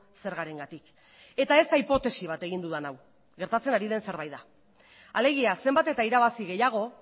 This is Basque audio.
zergarengatik eta ez da hipotesi bat egin dudan hau gertatzen ari den zerbait da alegia zenbat eta irabazi gehiago